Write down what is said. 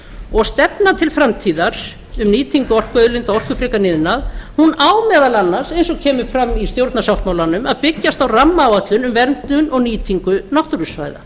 og stefnan til framtíðar um nýtingu orkuauðlinda og orkufrekan iðnað hún á meðal annars eins og kemur fram í stjórnarsáttmálanum að byggjast á rammaáætlun um verndun og nýtingu náttúrusvæða